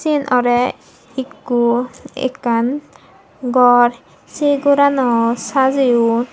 syen orey ikko ekkan gor sei gorano sajeyon.